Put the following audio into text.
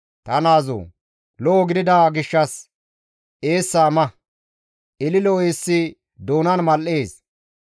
Ta naazoo! Lo7o gidida gishshas eessa ma; ililo eessi doonan mal7ees.